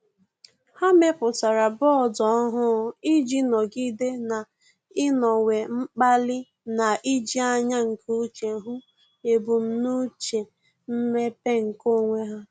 Há mèpụ̀tárà bọọdụ ọ́hụ́ụ iji nọ́gídé n’ị́nọ́wé mkpali na íjí ányá nke úchè hụ́ ebumnuche mmepe nke onwe ha.